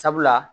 Sabula